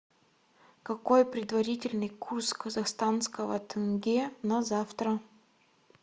какой предварительный курс казахстанского тенге на завтра